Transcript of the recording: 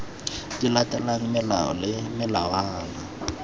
di latelang melao le melawana